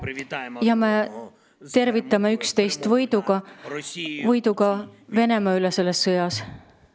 Me õnnitleme siis üksteist võidu puhul, võidu puhul Venemaa üle selles sõjas.